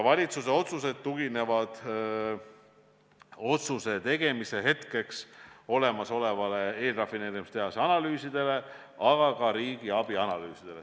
Valitsuse otsused tuginevad otsuse tegemise hetkeks olemasolevatele eelrafineerimistehase analüüsidele, aga ka riigiabi analüüsidele.